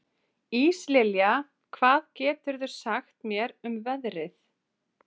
Íslilja, hvað geturðu sagt mér um veðrið?